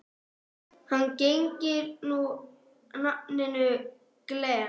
Hann gegnir nú nafninu Glenn.